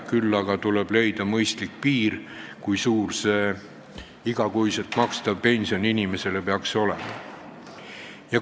Küll aga tuleb leida mõistlik piir, kui suur see iga kuu makstav pension peaks olema.